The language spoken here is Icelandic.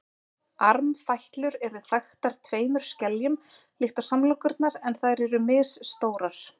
Armfætlur eru þaktar tveimur skeljum líkt og samlokurnar en þær eru misstórar.